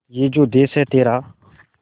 ये जो देस है तेरा